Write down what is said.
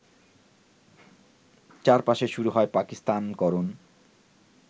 চারপাশে শুরু হয় পাকিস্তানকরণ